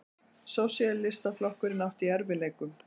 Sósíalistaflokkurinn átti í erfiðleikum.